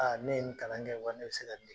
ne ye nin kalan kɛ, wa ne be se ka nin de